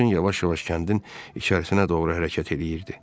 Maşın yavaş-yavaş kəndin içərisinə doğru hərəkət eləyirdi.